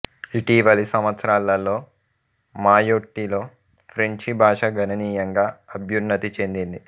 ఇటీవలి సంవత్సరాలలో మాయొట్టిలో ఫ్రెంచి భాష గణనీయంగా అభ్యున్నతి చెందింది